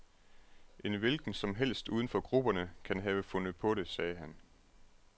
En hvilken som helst uden for grupperne kan have fundet på det, sagde han.